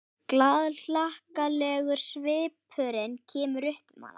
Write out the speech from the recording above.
Glaðhlakkalegur svipurinn kemur upp um hana.